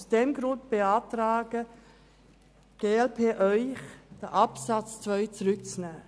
Aus diesem Grund beantragt Ihnen die glp, den Absatz 2 zurück an die Kommission zu geben.